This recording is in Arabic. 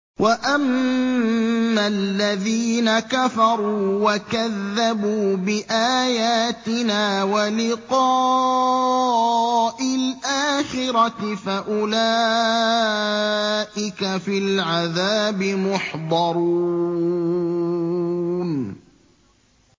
وَأَمَّا الَّذِينَ كَفَرُوا وَكَذَّبُوا بِآيَاتِنَا وَلِقَاءِ الْآخِرَةِ فَأُولَٰئِكَ فِي الْعَذَابِ مُحْضَرُونَ